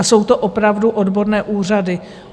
A jsou to opravdu odborné úřady.